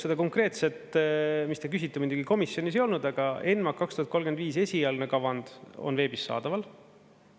Seda konkreetset, mis te küsite, muidugi komisjonis ei olnud, aga ENMAK 2035 esialgne kavand on veebis saadaval.